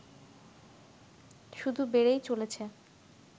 শুধু বেড়েই চলেছে